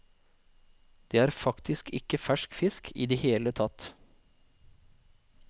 Det er faktisk ikke fersk fisk i det hele tatt.